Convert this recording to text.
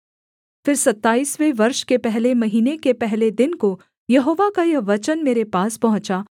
फिर सत्ताइसवें वर्ष के पहले महीने के पहले दिन को यहोवा का यह वचन मेरे पास पहुँचा